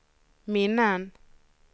minnen